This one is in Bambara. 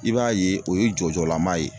I b'a ye o ye jɔ jɔla ma ye